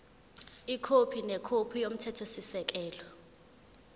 ikhophi nekhophi yomthethosisekelo